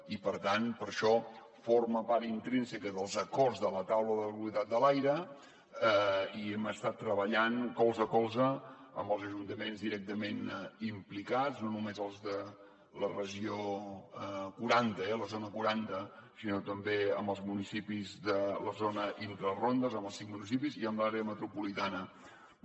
i per tant per això forma part intrínseca dels acords de la taula de la qualitat de l’aire i hem estat treballant colze a colze amb els ajuntaments directament implicats no només els de la regió quaranta la zona quaranta sinó també amb els municipis de la zona intrarondes amb els cinc municipis i amb l’àrea metropolitana de barcelona